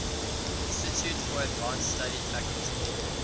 institute for advanced study faculty